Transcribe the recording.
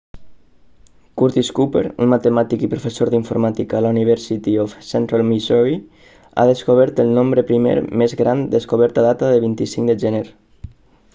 curtis cooper un matemàtic i professor d'informàtica a la university of central missouri ha descobert el nombre primer més gran descobert a data de 25 de gener